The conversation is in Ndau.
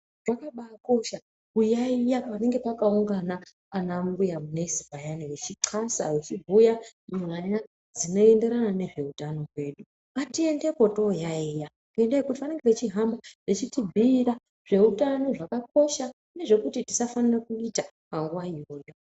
Zvakabaakosha kuyaiya panenge pakaungana anambuya nesi payana vechixasa, vechibhuya nyaya dzinoenderana nezveutano hwedu. Ngatiendepo toyaiya ngendaa yekuti, vanenge vechihamba vechitibhiira zveutano zvakakosha, nezvekuti tisafanire kuita, panguwa iyoyo.